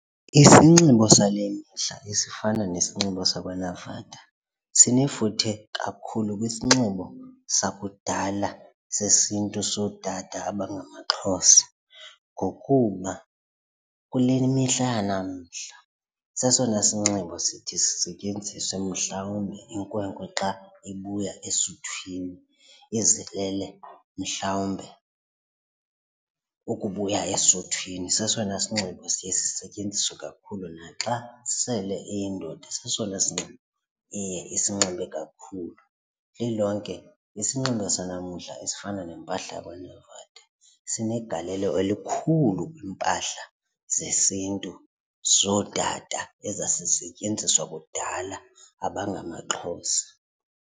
Isinxibo sale mihla esifana nesinxibo sakwaNavada sinefuthe kakhulu kwisinxibo sakudala sesiNtu sootata abangamaXhosa ngokuba kule mihla yanamhla sesona sinxibo sithi sisetyenziswe mhlawumbi inkwenkwe xa ibuya esuthwini izilele mhlawumbe ukubuya esuthwini. Sesona sinxibo siye sisetyenziswe kakhulu naxa sele iyindoda sesona sinxibo iye isinxibe kakhulu. Lilonke isinxibo senamdla ezifana nempahla yakwaNavada folder sinegalelo elikhulu kiimpahla zesiNtu zootata ezazisetyenziswa kudala abangamaXhosa.